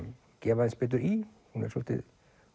gefa aðeins betur í hún er svolítið